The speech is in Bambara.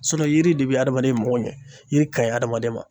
yiri de be adamaden mago ɲɛ ,yiri ka ɲi adamaden ma.